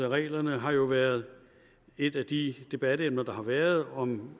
reglerne har jo været et af de debatemner der har været om